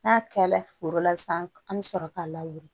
N'a kɛla foro la sisan an bɛ sɔrɔ k'a lawuli